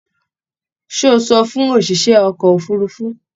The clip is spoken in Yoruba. Ṣé o sọ fún òṣìṣẹ́ ọkọ̀ òfurufu?